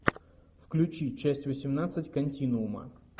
включи часть восемнадцать континуума